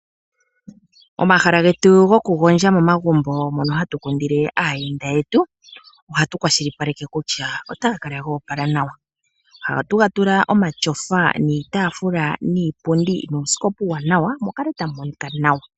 Omahala getu goku gondja momagumbo mono hatu kundile aayenda yetu ohatu kwashilipaleke kutya otaga kala goopala nawa, ohatu ga tula omatyofa, niitaafula, niipundi nuusikopa uuwanawa mu kale tamu monika nawa.